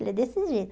Ele é desse jeito.